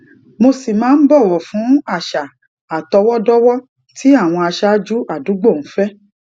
mo sì máa ń bòwò fún àṣà àtọwódówó tí àwọn aṣáájú àdúgbò ń fé